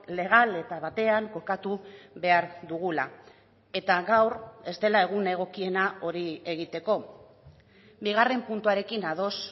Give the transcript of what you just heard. legal eta batean kokatu behar dugula eta gaur ez dela egun egokiena hori egiteko bigarren puntuarekin ados